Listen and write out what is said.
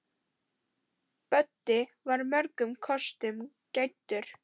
Böddi var mörgum kostum gæddur.